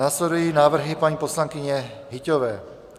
Následují návrhy paní poslankyně Hyťhové.